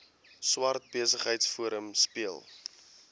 swart besigheidsforum speel